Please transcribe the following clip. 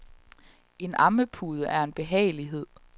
En ammepude er en behagelighed.